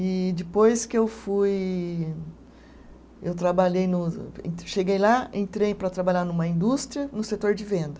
E depois que eu fui, eu trabalhei no, cheguei lá, entrei para trabalhar numa indústria no setor de venda.